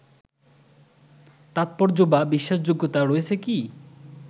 তাৎপর্য বা বিশ্বাসযোগ্যতা রয়েছে কি